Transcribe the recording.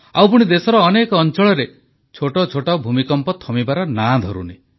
ଆଉ ପୁଣି ଦେଶର ଅନେକ ଅଂଚଳରେ ଛୋଟ ଛୋଟ ଭୂମିକମ୍ପ ଥମିବାର ନାଁ ଧରୁନି